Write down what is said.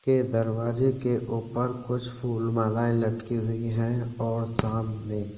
के दरवाजे के ऊपर कुछ फूल मालाये लटकी हुई हैं और सामने।